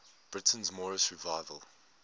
britain's moorish revival